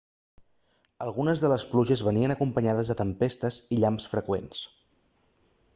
algunes de les pluges venien acompanyades de tempestes i llamps freqüents